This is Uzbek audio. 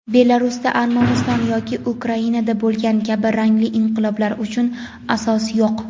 Belarusda Armaniston yoki Ukrainada bo‘lgani kabi rangli inqiloblar uchun asos yo‘q.